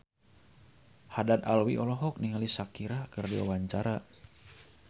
Haddad Alwi olohok ningali Shakira keur diwawancara